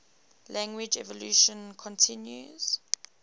language evolution continues